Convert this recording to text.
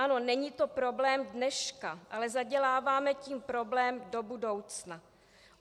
Ano, není to problém dneška, ale zaděláváme tím problém do budoucna.